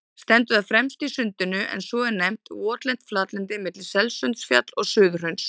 Stendur það fremst í Sundinu, en svo er nefnt votlent flatlendi milli Selsundsfjalls og Suðurhrauns.